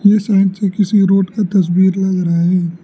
यह के side road का तस्वीर लग रहा है।